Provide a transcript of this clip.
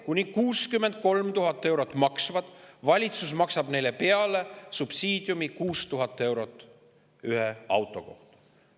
Kuni 63 000 eurot maksvate BMW‑de ja Teslade maksab valitsus subsiidiumi 6000 eurot ühe auto kohta.